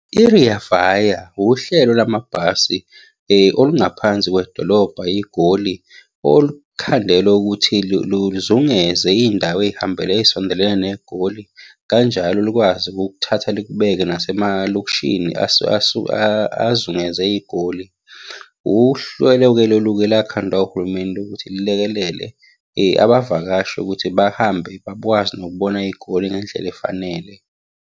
I-Rea vaya uhlelo lwamabhasi olungaphansi kwedolobha iGoli, olukhandelwe ukuthi luzungeze iy'ndawo ey'hambela ey'sondelene neGoli. Kanjalo lukwazi ukukuthatha likubeke nasemalokishini azungeze iGoli. Uhlelo-ke lolu-ke olakhandwa uhulumeni lokuthi lulekelele abavakashi ukuthi bahambe, bakwazi nokubona iGoli ngendlela efanele.